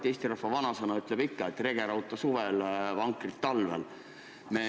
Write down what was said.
Eesti rahva vanasõna ütleb, et rege rauta ikka suvel, vankrit talvel.